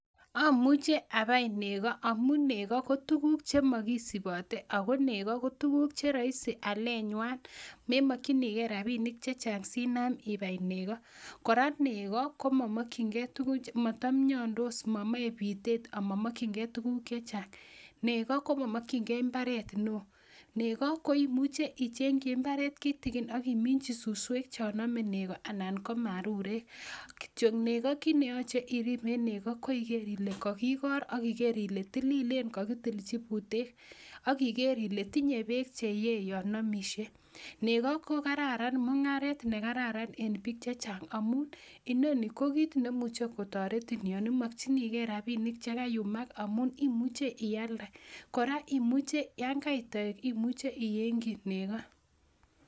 Ooh muche abai nego omuun nego kotuguk chemogisubote ago neego kotuguk aleet nywaan memokyinigee rabiniik chechang sinaam ibaai neego koraa neego komomokyigee tuguk motomyondos momoee biitet amamokyingee tuguk chechang, neego komokyingee imbareet neoo, neego koimuche iichenkyi imbareet kitigin agimijyii susweek chon omee negoo anan komarureek, kityoo negoo kiit neyoche iriib en neego koiger ile kogigoor ak igeer ile tilileen kogitilchii buuteek ak igeer ile tinyee beek cheyee yoon omisyee, nego kogararan mungaret negararan een biik chechang omuun inoni kogiit nemuche kotoretin yoon imokyinigee rabinik chegayumaak amun imuche iaalde, koraa imuche yaan kait toeek imuche iyeengkyii neego.